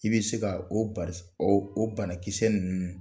I bɛ se ka o banakisɛ ninnu